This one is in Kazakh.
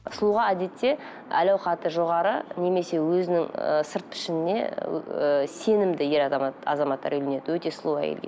сұлуға әдетте әл ауқаты жоғары немесе өзінің ы сырт пішініне ыыы сенімді ер азамат азаматтар үйленеді өте сұлу әйелге